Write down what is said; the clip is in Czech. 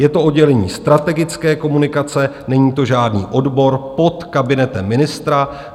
Je to oddělení strategické komunikace, není to žádný odbor, pod kabinetem ministra.